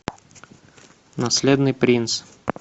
наследный принц